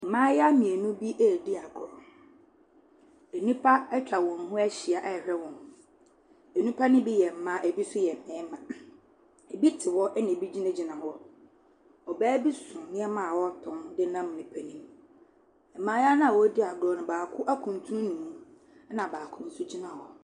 Mmaayiwa mmienu bi edi agorɔ. Nnipa etwa wɔn ho ahyia ɛhwɛ wɔn. Nnipa ne bi yɛ mmaa, ebi so yɛ mmarima. Ebi te hɔ ɛna ebi gyina gyina hɔ. Ɔbaa bi so nneɛma a ɔtɔn de nam edwa nim. Mmaayiwa na wodi agorɔ no baako ekuntunu ne mu. Ɛna baako nso gyina hɔ.